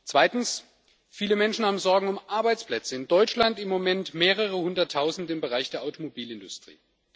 Zweitens Viele Menschen haben Sorgen um Arbeitsplätze in Deutschland im Moment mehrere Hunderttausend im Bereich der Automobilindustrie.